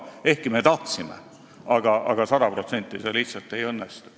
Me küll tahtsime, aga sada protsenti see lihtsalt ei õnnestu.